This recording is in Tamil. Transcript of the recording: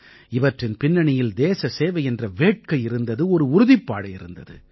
இவற்றின் பின்னணியில் தேச சேவை என்ற வேட்கை இருந்தது ஒரு உறுதிப்பாடு இருந்தது